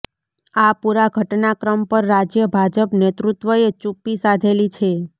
આ પુરા ઘટનાક્રમ પર રાજ્ય ભાજપ નેતૃત્વએ ચુપ્પી સાધેલી છે